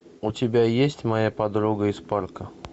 у тебя есть моя подруга из парка